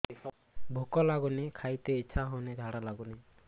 ଭୁକ ଲାଗୁନି ଖାଇତେ ଇଛା ହଉନି ଝାଡ଼ା ଲାଗୁନି